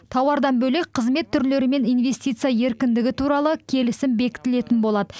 тауардан бөлек қызмет түрлері мен инвестиция еркіндігі туралы келісім бекітілетін болады